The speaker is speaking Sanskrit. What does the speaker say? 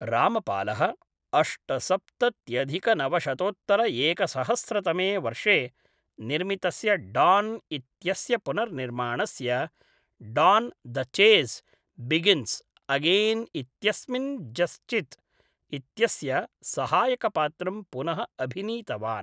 रामपालः अष्टसप्तत्यधिकनवशतोत्तरएकसहस्रतमे वर्षे निर्मितस्य डान् इत्यस्य पुनर्निर्माणस्य Don the chase begins again इत्यस्मिन् जस्जित् इत्यस्य सहायकपात्रं पुनः अभिनीतवान्।